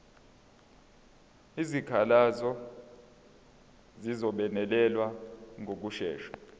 izikhalazo zizobonelelwa ngokushesha